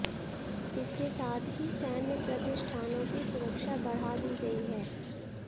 इसके साथ ही सैन्य प्रतिष्ठानों की सुरक्षा बढ़ा दी गई है